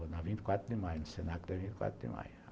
Na vinte e quatro de maio, no Senac da vinte e quatro de maio.